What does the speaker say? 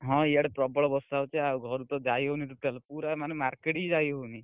ହଁ, ଇଆଡେ ପ୍ରବଳ ବର୍ଷା ହଉଛି ଆଉ ଘରୁ ତ ଯାଇହଉନି total ପୁରା ମାନେ market ବି ଯାଇହଉନି।